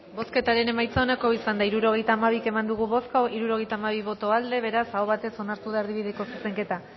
bozketaren emaitza onako izan da hirurogeita hamabi eman dugu bozka hirurogeita hamabi boto aldekoa beraz aho batez onartu da erdibideko zuzenketa